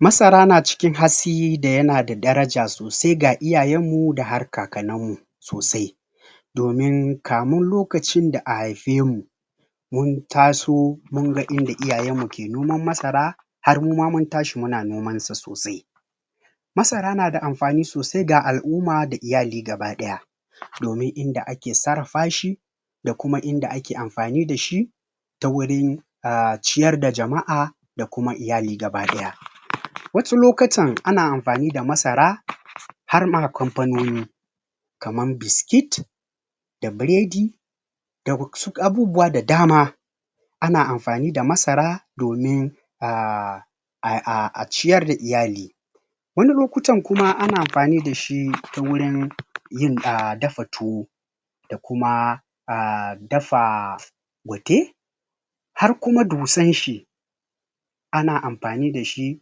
Masara yana cikin hasi da yana da daraja sosai ga iyayen mu da har kakannan mu sosai Domun kamun lokacin da a haife mu Mun taso munga inda iyayen muke noman masara Har muma mun tashi muna nomasa sosai Masara nada amfani sosai ga a'umma da iyali gaba daya Domun inda ake sarrafa shi Da kuma inda ake amfani dashi Ta wurin Umm ciyar da jama'a Da kuma iyali baki daya Wasu lokutan ana amfani da masara Harma kamfononi Kaman biskit Da biredi Da wasu abubuwa da dama Ana amfani da masara Domin Ahh Ai, a ciyar da iyali Wani lokutan kuma ana amfani dashi wurin Yin a dafa tuwo Da kuma Umm dafa Pate Har kuma dusan shi Ana amfani dashi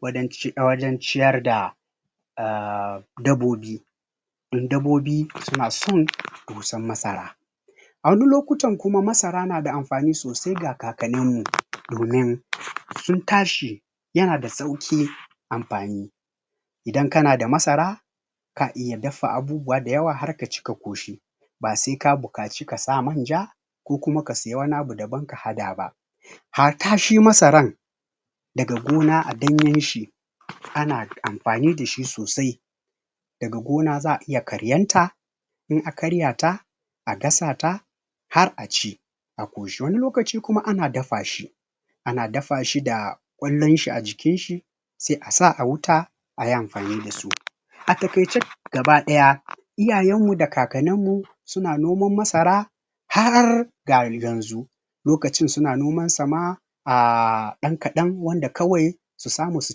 wajen ciyar da Umm dabobi Dabobi suna son dusar masara A wani lokutan kuma masara nada amfani sosai ga kakannin mu domin Sun tashi Yana da sauki Amfanin Idan kana da masara ka iya dafa abubuwa da yawa harka ci ka ƙoshi Basai ka bukaci kasa manja Ko kuma ka sayi wani abu daban ka hada ba Hata shi masaran Daga gona a ɗanyen shi Ana amfani dashi sosai Daga gona za'a iya karyan ta In a karya ta A gasa ta Har aci A koshi wani lokaci kuma ana dafashi Ana dafashi da Kwallon shi a jiki shi Sai asa a huta Ai amfani dasu A takaice gaba daya iyayen mu da kakanin mu Suna noman masara Har ga yanzu Lokacin suna noman sama Umm dan kadan wanda kawai Su samu su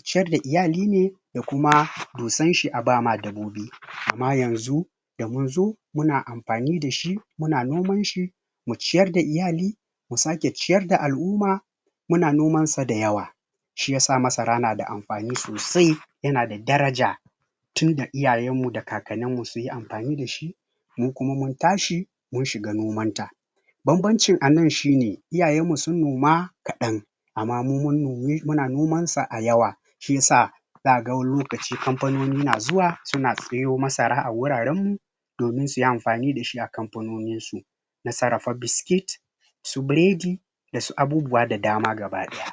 ciyar da iyali ne Da kuma dusan shi abama dabobi Amma yanzu Yanzu muna amfani dashi Muna noman shi Mu ciyar da iyali Mu sake ciyar da al'umma Muna noman sa da yawa Shi yasa masara nada amfani sosai Yana da daraja Tunda iyayen mu da kakanin mu sunyi amfani dashi Mu kuma mun tashi Mun shiga noman ta banbancin anan shine iyayen mu sun noma Kadan Ama mu mun nomi, muna noma sa a yawa Shisa Zaga wani lokaci kamfanoni na zuwa Suna sayo masara a wurin mu Domin suyi amfani dashi a kamfanonin su Na sarrafa biskit Su biredi Dasu abubuwa da dama gaba daya